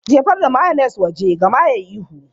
Jefar da mayones waje! Gama yayi ihu.